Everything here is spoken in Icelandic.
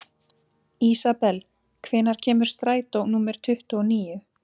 Ísabel, hvenær kemur strætó númer tuttugu og níu?